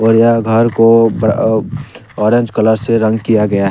यह घर को अह ऑरेंज कलर से रंग किया गया है।